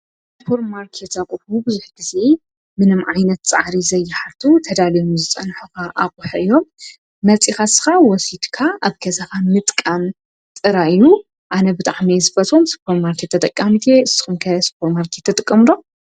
ሱፖርማርኬት አቁሑ ብዙሕ ግዜ ምንም ዓይነት ፃዕሪ ዘይሓቱ ተዳልዮም ዝፀንሑካ አቁሑ እዮም፤ መፂካ ንስካ ወሲድካ አብ ገዛካ ምጥቃም ጥራይ ፤ አነ ብጣዕሚ እየ ዝፈትዎ ሱፖር ማርኬት ተጠቃሚት እየ፡፡ ንስኩም ኸ ሱፖርማርኬት ትጥቀሙ ዶ?